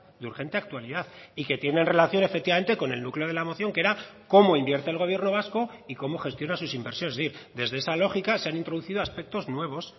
de urgente actualidad y que tienen relación efectivamente con el núcleo de la moción que era cómo invierte el gobierno vasco y cómo gestiona sus inversiones desde esa lógica se han introducido aspectos nuevos